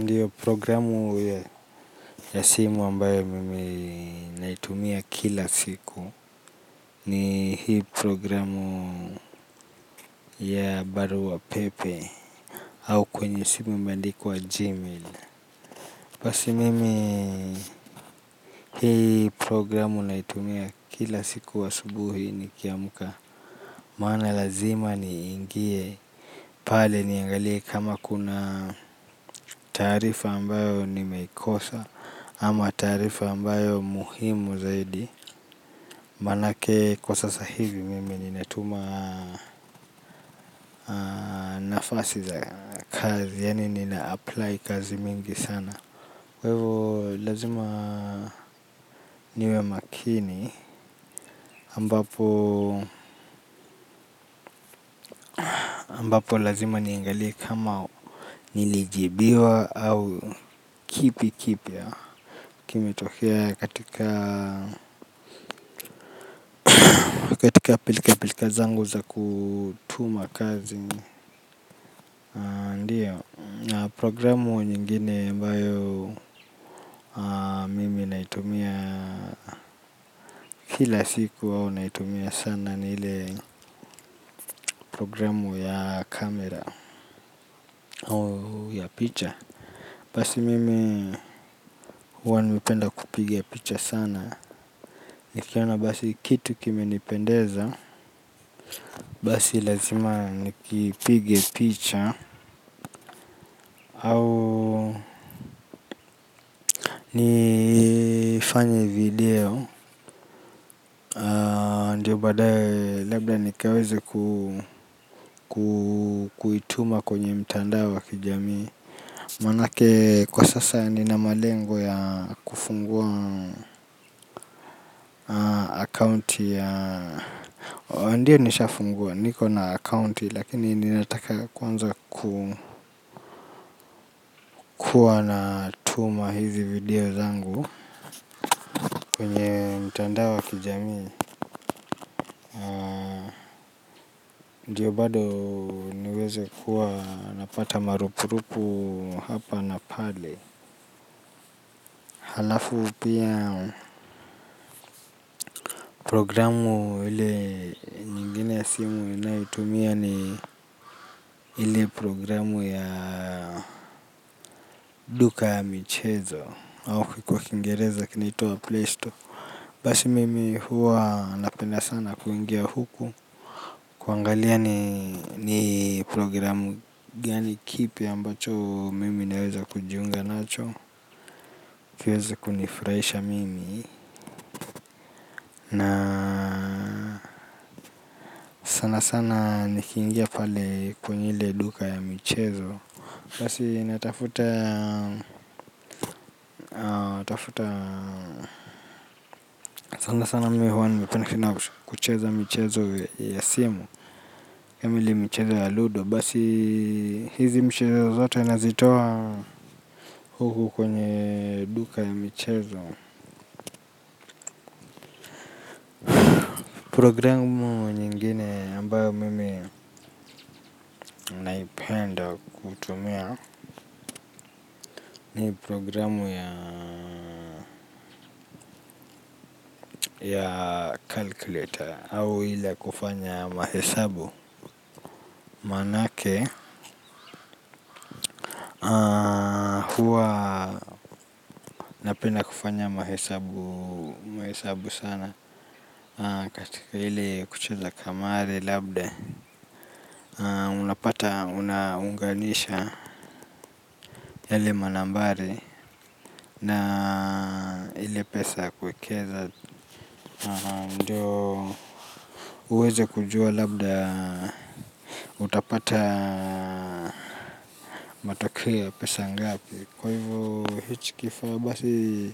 Ndiyo programu ya simu ambayo mimi naitumia kila siku. Ni hii programu ya baru wa pepe au kwenye simu imeandiku wa gmail. Basi mimi hii programu naitumia kila siku asubuhi ni kiamuka. Maana lazima ni ingie pale niangalie kama kuna tarifa ambayo nimeikosa ama tarifa ambayo muhimu zaidi. Manake kwa sasa hivi mimi nina tuma nafasi za kazi yani niniapply kazi mingi sana kvevo lazima niwe makini ambapo lazima niengalia kama nilijibiwa au kipi kipi. Kime tokea katika pilika pilika zangu za kutuma kazi. Ndiyo na programu nyingine mbao mimi naitumia kila siku au naitumia sana ni ile programu ya kamera au ya picha. Basi mimi huwa nimependa kupige picha sana. Nikiona basi kitu kime nipendeza basi lazima nikipige picha au nifanye video. Ndiyo badawe lebda nikaweze kuituma kwenye mtanda wa kijami. Manake kwa sasa nina malengo ya kufungua akaunti ya ndiyo nisha funguwa niko na akaunti lakini ninataka kwanza kukua na tuma hizi video zangu kwenye mtandao wa kijami. Ndiyo bado niweze kuwa napata marupu rupu hapa napale. Halafu pia programu ile nyingine ya simu inayitumia ni ili programu ya duka michezo. Au kwa kingereza kinitua playstore. Basi mimi huwa napenda sana kuingia huku. Kuangalia ni programu gani kipi ambacho mimi naweza kujiunga nacho. Kiweze kunifurahisha mimi na sana sana nikiingia pale kwenye ile duka ya michezo basi natafuta sana sana mimi huwa nipenikina kucheza michezo ya simu. Kamili michezo ya ludo basi hizi michezo zote nazitowa huku kwenye duka ya michezo. Programu nyingine ambayo mimi naipenda kutumia ni programu ya calculator au ila kufanya mahesabu manake kuwa napenda kufanya mahesabu sana katika ili kucheza kamari labda unapata unaunganisha yale manambari na ili pesa kwekeza. Ndiyo uweze kujua labda utapata matakeo ya pesa ngapi. Kwa hivyo hichikifawa basi